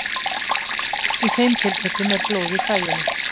Í þeim tilfellum er blóð í þvaginu.